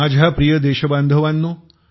माझ्या प्रिय देशबांधवानो